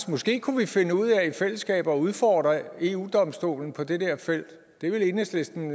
måske kunne vi finde ud af i fællesskab at udfordre eu domstolen på det der felt det vil enhedslisten